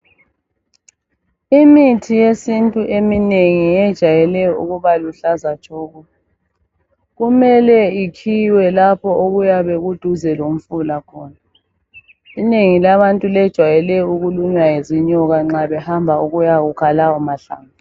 Imithi yesintu eminengi yejayele ukubaluhlaza tshoko, kumele ikhiwe lapho okuyabe kuduze lomfula khona. Inengi labantu lejwayele ukulunywa zinyoka nxa behamba ukuya kukha lawo mahlamvu.